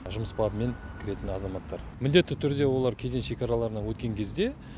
жұмыс бабымен кіретін азаматтар міндетті түрде олар кеден шекараларына өткен кезде